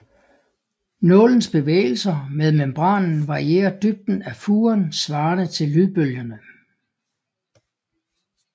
Nålens bevægelser med membranen varierer dybden af furen svarende til lydbølgerne